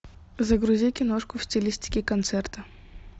загрузи киношку в стилистике концерта